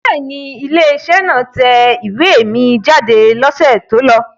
Bẹ́ẹ̀ ni, ilé-iṣẹ́ náà tẹ ìwé mi jáde lọ́sẹ̀ tó lọ.